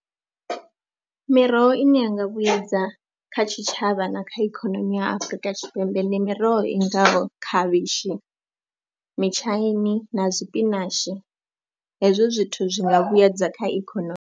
Miroho ine yanga vhuyedza kha tshitshavha na kha ikhonomi ya Afrika Tshipembe ndi miroho i ngaho khavhishi, mitshaini na sipinashi, hezwo zwithu zwi nga vhuyedza kha ikhonomi.